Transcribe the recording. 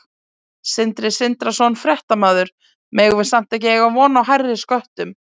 Sindri Sindrason, fréttamaður: Megum við samt ekki eiga von á hærri sköttum?